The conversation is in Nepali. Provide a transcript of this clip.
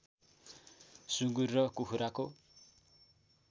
सुँगुर र कुखुराको